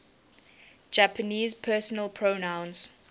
japanese personal pronouns